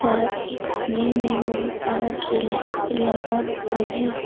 सड़क के कोने में बहोत सारा स्ट्रीट लाइस भी लगा हुआ है।